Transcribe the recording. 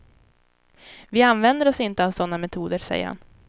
Vi använder oss inte av sådana metoder, säger han.